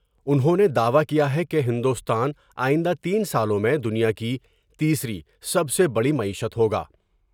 انھوں نے دعوی کیا ہے کہ ہندوستان آئندہ تین سالوں میں دنیا کی تیسری سب سے بڑی معیشت ہوگا ۔